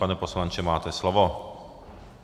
Pane poslanče, máte slovo.